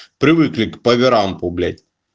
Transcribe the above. привыкли к поверампу блять